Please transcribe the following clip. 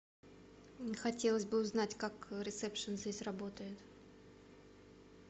хотелось бы узнать как ресепшн здесь работает